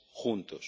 juntos,